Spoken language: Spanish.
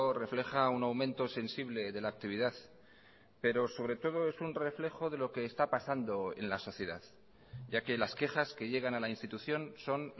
refleja un aumento sensible de la actividad pero sobre todo es un reflejo de lo que está pasando en la sociedad ya que las quejas que llegan a la institución son